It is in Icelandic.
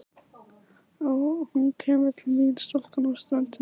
Og hún kemur til mín stúlkan á ströndinni.